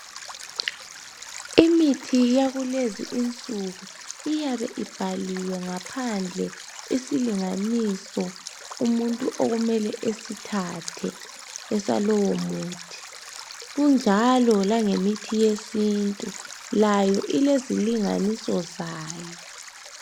Imithi yakulezi insuku iyabe ibhaliwe ngaphandle isilinganiso umuntu okumele esithathe esalowo muthi kunjalo lange mithi yesintu layo silezilinganiso zayo